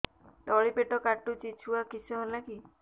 ତଳିପେଟ କାଟୁଚି ଛୁଆ କିଶ ହେଲା କି